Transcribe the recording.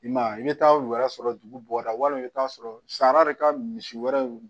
I ma ye i bɛ taa u yɛrɛ sɔrɔ dugu bɔda walima i bɛ taa sɔrɔ sari ka misi wɛrɛ